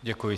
Děkuji.